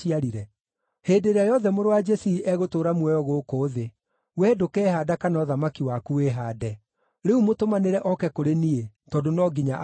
Hĩndĩ ĩrĩa yothe mũrũ wa Jesii egũtũũra muoyo gũkũ thĩ, wee ndũkehaanda kana ũthamaki waku wĩhaande. Rĩu mũtũmanĩre oke kũrĩ niĩ, tondũ no nginya akue!”